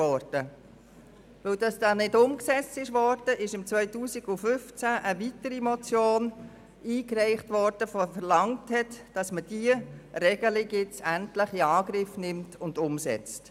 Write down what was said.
Weil die Motion nicht umgesetzt wurde, wurde 2015 eine weitere Motion mit der Forderung eingereicht, diese Regelung endlich in Angriff zu nehmen und umzusetzen.